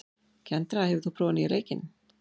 Kendra, hefur þú prófað nýja leikinn?